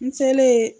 N selen